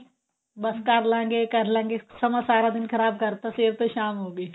ਬੱਸ ਕਰਲਾਂਗੇ ਕਰਲਾਂਗੇ ਸਮਾਂ ਸਾਰਾ ਦਿਨ ਖਰਾਬ ਕਰਤਾ ਸਵੇਰ ਤੋਂ ਸ਼ਾਮ ਹੋ ਗਈ